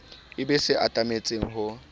e be se atametseng ho